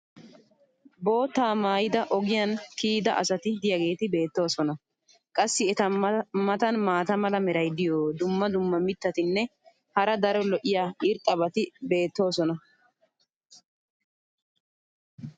boottaa maayidi ogiya kiyidda asati diyaageeti beetoosona. qassi eta matan maata mala meray diyo dumma dumma mitatinne hara daro lo'iya irxxabati beettoosona.